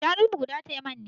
Shanunmu guda maitan ne.